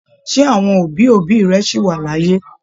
Ṣe àwọn òbí òbí rẹ sí wá l'áyé?